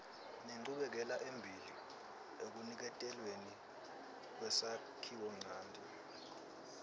nenchubekelembili ekuniketelweni kwesakhiwonchanti